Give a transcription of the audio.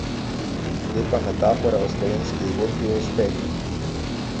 Lepa metafora o slovenski zgodbi o uspehu.